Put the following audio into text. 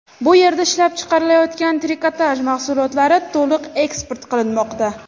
Bu yerda ishlab chiqarilayotgan trikotaj mahsulotlari to‘liq eksport qilinmoqda.